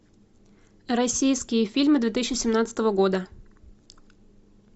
российские фильмы две тысячи семнадцатого года